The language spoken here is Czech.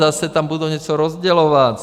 Zase tam budou něco rozdělovat.